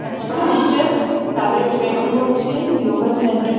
একটা টিচার তাদের ট্রেন করছে যোগা সেন্টার ।